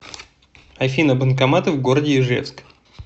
афина банкоматы в городе ижевск